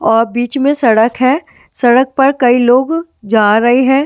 और बीच में सड़क है सड़क पर कई लोग जा रहे हैं ।